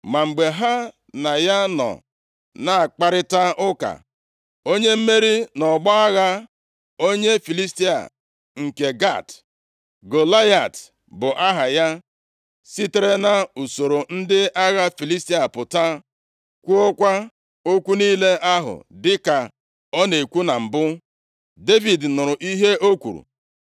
Ma mgbe ha na ya nọ na-akparịta ụka, onye mmeri nʼọgbọ agha, onye Filistia nke Gat, Golaịat bụ aha ya, sitere nʼusoro ndị agha Filistia pụta, kwuokwa okwu niile ahụ dịka ọ na-ekwu na mbụ. Devid nụrụ ihe o kwuru.